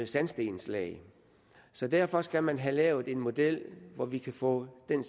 sandstenslag så derfor skal man have lavet en model hvor vi kan få den